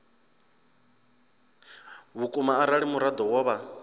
vhukuma arali muraḓo wo vha